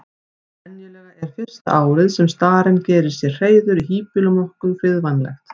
Venjulega er fyrsta árið sem starinn gerir sér hreiður í híbýlum nokkuð friðvænlegt.